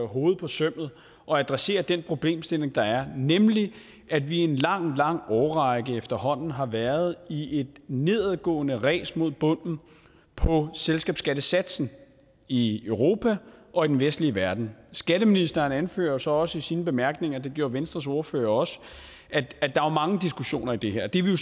hovedet på sømmet og adresserer den problemstilling der er nemlig at vi i en lang lang årrække efterhånden har været i et nedadgående ræs mod bunden på selskabsskattesatsen i europa og i den vestlige verden skatteministeren anfører så også i sine bemærkninger det gjorde venstres ordfører også at der er mange diskussioner i det her det er vi